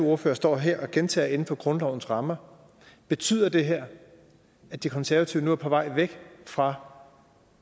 ordfører står her og gentager inden for grundlovens rammer betyder det her at de konservative nu er på vej væk fra